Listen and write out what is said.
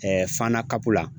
Fana CAP la.